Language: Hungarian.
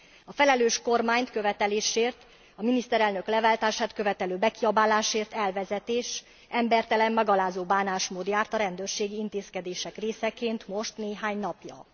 A felelős kormány követeléséért, a miniszterelnök leváltását követelő bekiabálásért elvezetés, embertelen és megalázó bánásmód járt a rendőrségi intézkedések részeként most néhány napja.